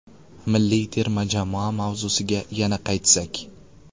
Milliy terma jamoa mavzusiga yana qaytsak.